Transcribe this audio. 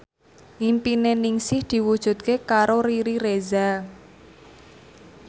impine Ningsih diwujudke karo Riri Reza